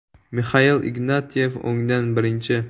Mixail Ignatyev (o‘ngdan birinchi).